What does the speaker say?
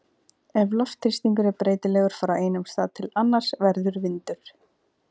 Ef loftþrýstingur er breytilegur frá einum stað til annars verður vindur.